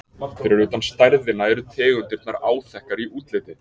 Fyrir utan stærðina eru tegundirnar áþekkar í útliti.